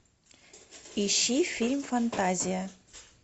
ищи фильм фантазия